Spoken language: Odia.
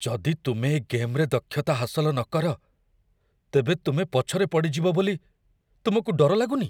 ଯଦି ତୁମେ ଏ ଗେମ୍‌ରେ ଦକ୍ଷତା ହାସଲ ନକର, ତେବେ ତୁମେ ପଛରେ ପଡ଼ିଯିବ ବୋଲି ତୁମକୁ ଡର ଲାଗୁନି?